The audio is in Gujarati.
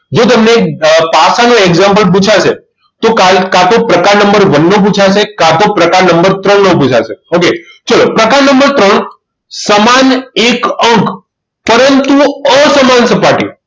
જો તમને પાસા નું example પૂછાશે તો કા તો પ્રકાર નંબર one નું પુછાશે કા તો પ્રકાર નંબર ત્રણ નું પુછાશે ઓકે ચલો પ્રકાર નંબર સમાન એક અંક પરંતુ અસમાન સપાટી